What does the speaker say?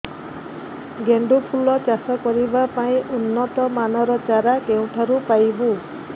ଗେଣ୍ଡୁ ଫୁଲ ଚାଷ କରିବା ପାଇଁ ଉନ୍ନତ ମାନର ଚାରା କେଉଁଠାରୁ ପାଇବୁ